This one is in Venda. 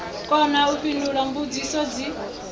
kona u fhindula mbudziso dzi